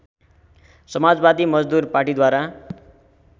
समाजवादी मजदुर पार्टीद्वारा